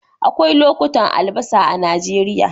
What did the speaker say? Akwai lokutan albasa a Najeriya